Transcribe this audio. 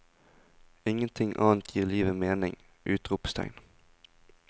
Ingenting annet gir livet mening! utropstegn